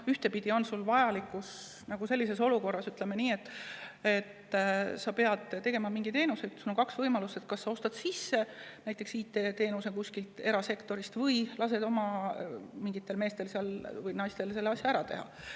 Sellises olukorras, kus sa pead mingit teenust, on kaks võimalust: sa kas ostad IT-teenuse sisse kuskilt erasektorist või siis lased oma meestel-naistel selle asja ära teha.